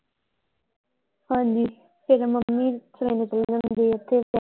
ਹਾਂਜੀ ਨਾਲੇ ਫੇਰ ਮੰਮੀ ਓਥੇ।